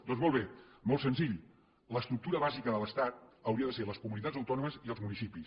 doncs molt bé molt senzill l’estructura bàsica de l’estat haurien de ser les comunitats autònomes i els municipis